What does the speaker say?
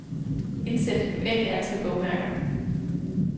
Indsæt et uendeligt antal bogmærker.